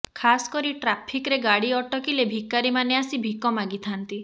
ଖାସ୍ କରି ଟ୍ରାଫିକରେ ଗାଡ଼ି ଅଟକିଲେ ଭିକାରୀମାନେ ଆସି ଭିକ ମାଗିଥାନ୍ତି